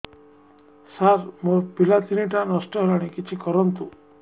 ସାର ମୋର ପିଲା ତିନିଟା ନଷ୍ଟ ହେଲାଣି କିଛି କରନ୍ତୁ